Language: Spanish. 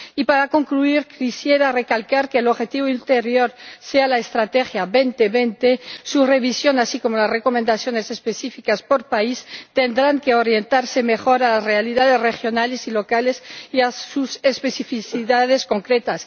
Y para concluir, quisiera recalcar que el objetivo ulterior sea la Estrategia 2020 su revisión, así como las recomendaciones específicas por país, tendrán que orientarse mejor a las realidades regionales y locales y a sus especificidades concretas.